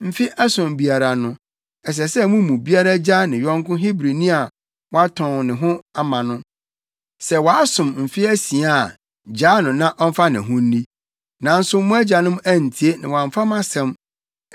‘Mfe ason biara no, ɛsɛ sɛ mo mu biara gyaa ne yɔnko Hebrini a watɔn ne ho ama no. Sɛ wasom mfe asia a gyaa no na ɔmfa ne ho nni.’ Nanso mo agyanom antie na wɔamfa mʼasɛm.